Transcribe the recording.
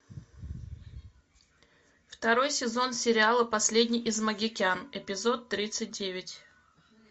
второй сезон сериала последний из магикян эпизод тридцать девять